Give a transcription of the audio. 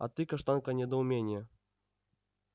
а ты каштанка недоумение